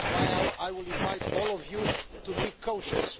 This is why I will invite all of you to be cautious.